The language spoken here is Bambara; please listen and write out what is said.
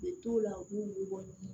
Ne t'o la u b'u bɔ